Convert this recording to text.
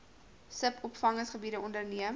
sub opvanggebiede onderneem